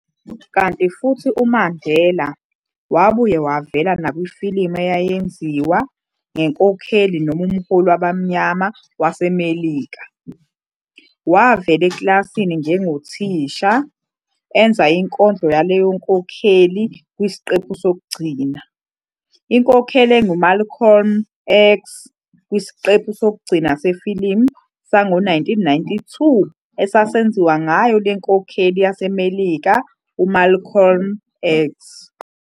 Kanti futhi uMandela wabuye wavela nakwifilimu eyayenziwa ngenkokheli noma umholi wabamnyama yaseMelika, wavela eklasini njengothisha, enza inkondlo yaleyo nkokheli kwisiqephu sokugcina, inkokheli engu-Malcolm X kwisiqephu sokugcina sefilimu sango 1992 esasenziwa ngayo le nkhokheli yaseMellika u- "Malcolm X".